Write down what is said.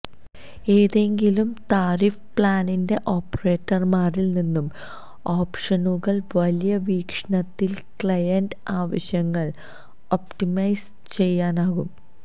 ഏതെങ്കിലും താരിഫ് പ്ലാനിന്റെ ഓപ്പറേറ്റർമാരിൽ നിന്നും ഓപ്ഷനുകൾ വലിയ വീക്ഷണത്തിൽ ക്ലയന്റ് ആവശ്യങ്ങൾ ഒപ്റ്റിമൈസ് ചെയ്യാനാകും